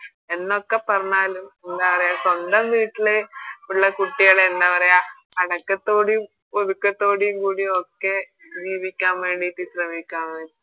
എന്നൊക്കെ പറഞ്ഞാലും എന്നാ പറയാ സ്വന്തം വീട്ടിലെ ഇള്ള കുട്ടികളെ എന്ന പറയാ അടക്കത്തോടെയും ഒതുക്കത്തോടെയും കൂടി ഒക്കെ നിയമിക്കാൻ വേണ്ടിറ്റ് ശ്രമിക്ക